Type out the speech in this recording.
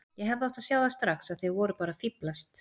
Ég hefði átt að sjá það strax að þið voruð bara að fíflast.